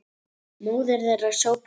Móðir þeirra sópar gólf